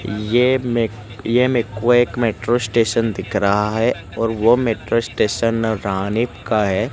ये मेक ये मेको एक मेट्रो स्टेशन दिख रहा है और वो मेट्रो स्टेशन रानीप का है।